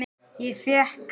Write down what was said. Ég fékk